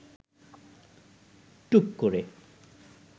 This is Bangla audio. টুক করে